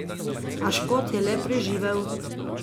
A Škot je le preživel.